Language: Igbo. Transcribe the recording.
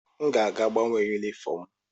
M ga-aga gbanwee yunifọọm m.